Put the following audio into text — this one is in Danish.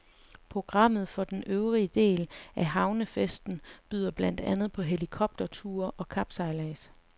Programmet for den øvrige del af havnefesten byder blandt andet på helikopterture og kapsejlads.